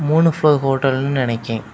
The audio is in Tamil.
மூன்று ப்லோர் ஓட்டல்னு நினைக்கே.